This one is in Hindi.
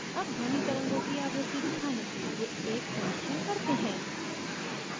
अब ध्वनि तरंगों की आवृत्ति दिखाने के लिए एक परिक्षण हैं